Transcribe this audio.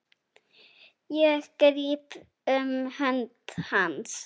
Ég gríp um hönd hans.